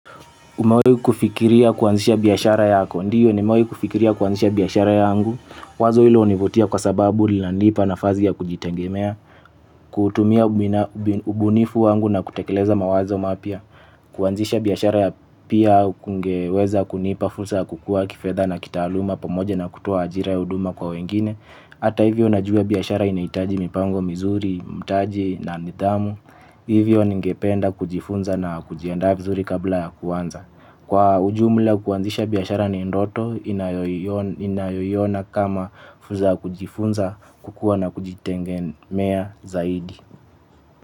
Umawahi kufikiria kuanzisha biashara yako? Ndio, nimewahi kufikiria kuanzisha biashara yangu, wazo hilo hunivutia kwa sababu linanipa nafasi ya kujitengemea, kuutumia ubunifu wangu na kutekeleza mawazo mapya, kuanzisha biashara pia kungeweza kunipa fursa ya kukua kifedha na kitaaluma pamoja na kutoa ajira ya huduma kwa wengine, hata hivyo najua biashara inahitaji mipango mizuri, mtaji na nidhamu, hivyo ningependa kujifunza na kujiandaa vizuri kabla ya kuanza. Kwa ujumla kuanzisha biashara ni ndoto ninayoiona kama fursa ya kujifunza kukua na kujitegemea zaidi.